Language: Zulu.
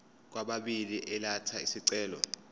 kwababili elatha isicelo